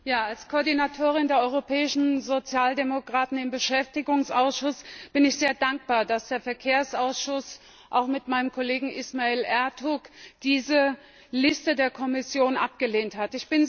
Herr Präsident! Als Koordinatorin der Europäischen Sozialdemokraten im Beschäftigungsausschuss bin ich sehr dankbar, dass der Verkehrsausschuss auch mit meinem Kollegen Ismail Ertug diese Liste der Kommission abgelehnt hat.